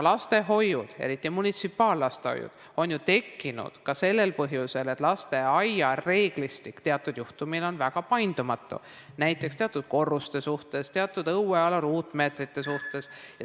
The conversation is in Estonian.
Lastehoiud, eriti munitsipaallastehoiud, on ju tekkinud ka sellel põhjusel, et lasteaia reeglistik teatud juhtudel on väga paindumatu, näiteks teatud korruste suhtes, teatud õueala ruutmeetrite suhtes.